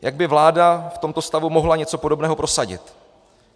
Jak by vláda v tomto stavu mohla něco podobného prosadit?